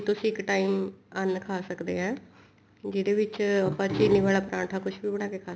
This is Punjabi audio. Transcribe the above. ਤੁਸੀਂ ਇੱਕ time ਅੰਨ ਖਾ ਸਕਦੇ ਹਾਂ ਜਿਹੜੇ ਵਿੱਚ ਆਪਾਂ ਚੀਨੀ ਵਾਲਾ ਪਰਾਂਠਾ ਕੁੱਛ ਵੀ ਬਣਾ ਕੇ ਖਾ ਸਕਦੇ ਹਾਂ